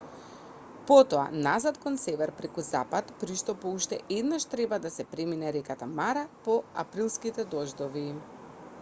потоа назад кон север преку запад при што по уште еднаш треба да се премине реката мара по априлските дождови